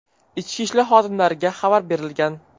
Ichki ishlar xodimlariga xabar berilgan.